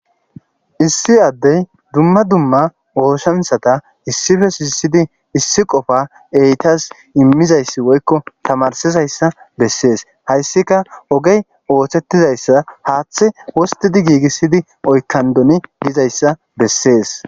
issi addey dumma dumma oosanchata issife shiisidi issi qofa eytas immizayssi woykko tamarsizayssa bessees hayssika ogey oosettizayssa haaththe osttidi giigissidi oykkandoni gizayssa bessees.